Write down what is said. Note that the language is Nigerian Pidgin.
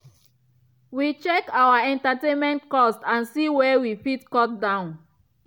we been check our entertainment cost and see where we fit cut down.